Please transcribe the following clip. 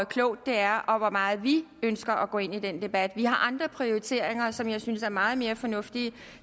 klogt det er og hvor meget vi ønsker at gå ind i den debat vi har andre prioriteringer som jeg synes er meget mere fornuftige de